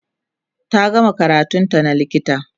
ta gama karatun ta na likita